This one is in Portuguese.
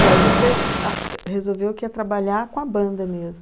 E aí você f ah, resolveu que ia trabalhar com a banda mesmo?